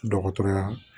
Dɔgɔtɔrɔya